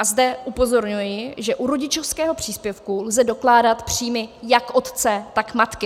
A zde upozorňuji, že u rodičovského příspěvku lze dokládat příjmy jak otce, tak matky.